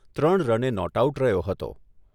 ત્રણ રને not out રહ્યો હતો.